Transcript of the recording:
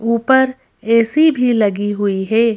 ऊपर ऐ_सी भी लगी हुई है।